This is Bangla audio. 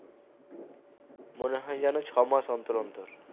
মনে হয় যেন ছমাস অন্তর অন্তর